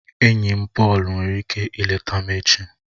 Enyi m Pọọlu nwere ike ileta m echi